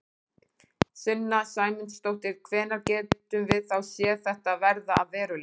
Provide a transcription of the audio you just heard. Sunna Sæmundsdóttir: Hvenær gætum við þá séð þetta verða að veruleika?